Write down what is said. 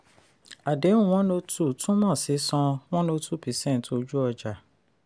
àdéhùn one o two túmọ̀ sí san one o two percent ojú-ọjà.